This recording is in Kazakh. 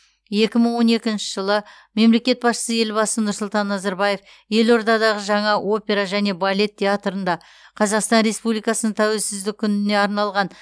екі мың он екінші жылы мемлекет басшысы елбасы нұрсұлтан назарбаев елордадағы жаңа опера және балет театрында қазақстан республикасының тәуелсіздігі күніне арналған